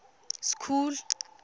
school